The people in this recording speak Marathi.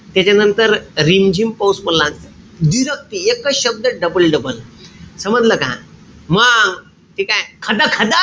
त्याच्यानंतर रिमझिम पाऊस पडला म्हणते. व्दिरक्ती एकच शब्द double-double. समजलं का? मंग ठीकेय? खदखद,